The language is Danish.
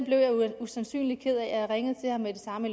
usandsynlig ked af og jeg ringede med det samme